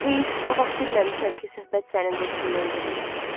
Heyif, o vaxt bilməmişəm ki, söhbət sənin dostundan gedir.